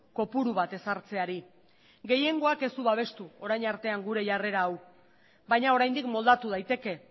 kopuru bat ezartzeari gehiengoak ez du babestu orain artean gure jarrera hau baina oraindik moldatu daiteke